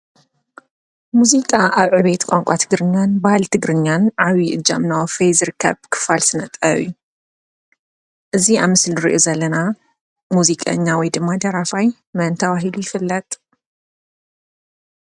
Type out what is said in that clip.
ሙዚቃ ኣብ ዕብየት ቋንቋ ትግርኛን ባህልን ትግርኛን ዓብይ እጃም እናወፈየ ዝርከብ ክፋል ስነ ጥበብ እዩ። እዙይ ኣብ ምስሊ እንርእዮ ዘለና ሙዚቀኛ ወይ ድማ ደራፋይ መን ተባሂሉ ይፍለጥ?